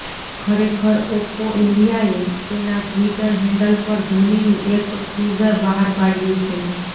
ખરેખર ઓપ્પો ઇન્ડિયાએ તેના ટિ્વટર હેન્ડલ પર ધોનીનું એક ટીઝર બહાર પાડ્યું છે